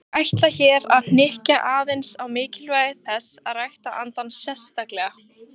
Ég ætla hér að hnykkja aðeins á mikilvægi þess að rækta andann sérstaklega.